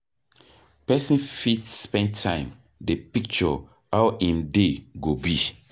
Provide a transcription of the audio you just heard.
Person fit spend time dey picture how im day go be